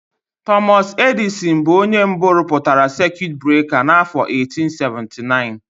Tọmọs Edịsịn bụ onye mbụ rụpụtara sekiut breka n'afọ 1879.